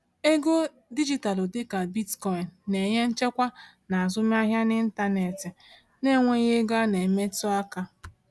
Ego dijitalụ dịka Bitcoin na-enye nchekwa n’azụmahịa n’ịntanetị na-enweghị ego a na-emetụ aka.